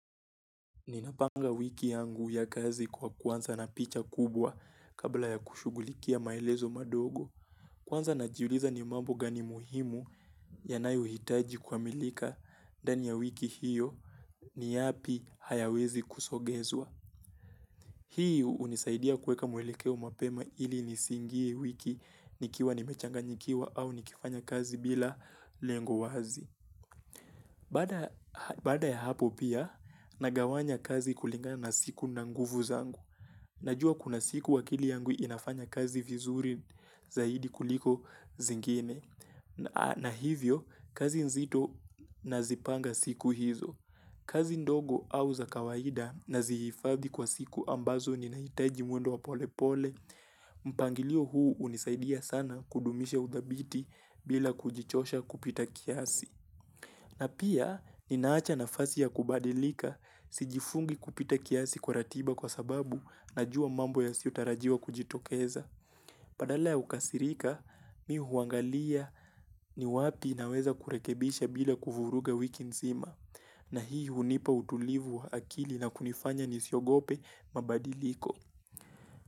Ninapanga wiki yangu ya kazi kwa kuanza na picha kubwa kabla ya kushughulikia maelezo madogo. Kwanza najiuliza ni mambo gani muhimu yanayohitaji kwa milika ndani ya wiki hiyo ni yapi hayawezi kusogezwa. Hii hunisaidia kuweka mwelekeo mapema ili nisiingie wiki nikiwa nimechanganyika au nikifanya kazi bila lengo wazi. Baada ya hapo pia, nagawanya kazi kulinga na siku na nguvu zangu. Najua kuna siku akili yangu inafanya kazi vizuri zaidi kuliko zingine. Na hivyo, kazi nzito nazipanga siku hizo. Kazi ndogo auza kawaida nazihifadhi kwa siku ambazo ninahitaji mwendo wa pole pole, mpangilio huu hunisaidia sana kudumisha udhabiti bila kujichosha kupita kiasi. Na pia, ninaacha nafasi ya kubadilika, sijifungi kupita kiasi kwa ratiba kwa sababu na jua mambo yasiyotarajiwa kujitokeza. Badala ya kukasirika, mi huangalia ni wapi naweza kurekebisha bila kuvuruga wiki nzima. Na hii hunipa utulivu wa akili na kunifanya nisiogope mabadiliko.